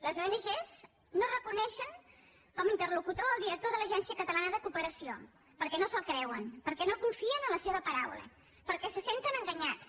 les ong no reconeixen com a interlocutor el director de l’agència catalana de cooperació perquè no se’l creuen perquè no confien en la seva paraula perquè se senten enganyats